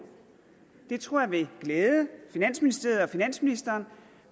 det tror jeg vil glæde finansministeriet og finansministeren